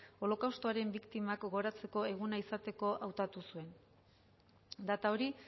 holokaustoaren biktimak gogoratzeko eguna izateko hautatu zuen data hori